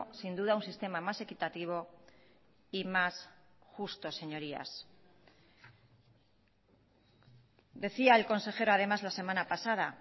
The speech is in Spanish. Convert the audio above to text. sin duda un sistema más equitativo y más justo señorías decía el consejero además la semana pasada